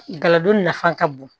Galadon nafa ka bon